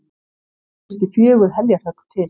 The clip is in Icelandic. Þurfti fjögur heljarhögg til.